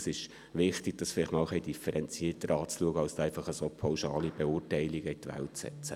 Es ist wichtig, das einmal etwas differenzierter anzuschauen und nicht pauschale Verurteilungen in die Welt zu setzen.